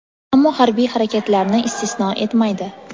ammo harbiy harakatlarni istisno etmaydi.